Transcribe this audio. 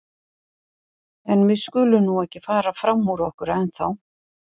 En við skulum nú ekki fara fram úr okkur ennþá.